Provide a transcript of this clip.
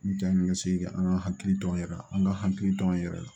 N cɛ ni ka segin ka an ka hakili to an yɛrɛ la an ka hakili to an yɛrɛ la